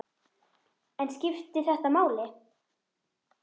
En skiptir þetta máli?